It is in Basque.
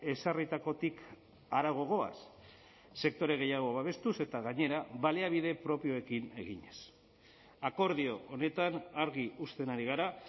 ezarritakotik harago goaz sektore gehiago babestuz eta gainera baliabide propioekin eginez akordio honetan argi uzten ari gara